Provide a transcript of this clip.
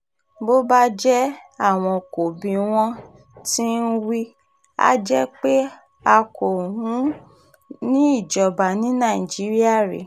bó bá jẹ́ àwọn kò bí wọ́n ti ń wí a jẹ́ pé a kò ń ìíjọba ní nàìjíríà rèé